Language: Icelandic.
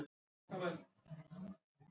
Það er vont.